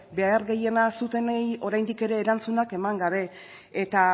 behar gehiena zutenei oraindik ere erantzunak eman gabe eta